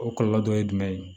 O kɔlɔlɔ dɔ ye jumɛn ye